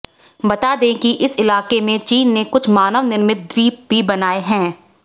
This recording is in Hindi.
बता दें कि इस इलाके में चीन ने कुछ मानव निर्मित द्वीप भी बनाए हैं